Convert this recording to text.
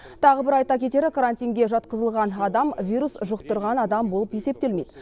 тағы бір айта кетері карантинге жатқызылған адам вирус жұқтырған адам болып есептелмейді